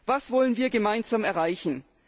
Was wollen wir gemeinsam erreichen?